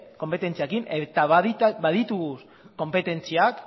konpetentziekin eta baditugu konpetentziak